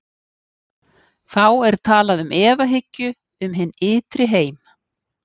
Þá er talað um efahyggju um hinn ytri heim.